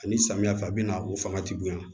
Ani samiyɛ fɛ a bɛ na o fanga ti bonya